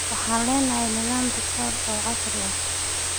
Waxaan leenahay nidaam rikoodh oo casri ah.